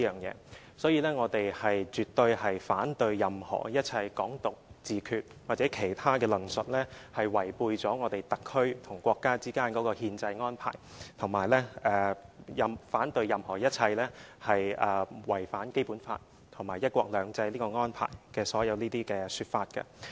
因此，我們絕對反對任何一切"港獨"、"自決"或其他論述，這是違背了我們特區與國家之間的憲制安排，我們也反對任何一切違反《基本法》和"一國兩制"這個安排的所有說法。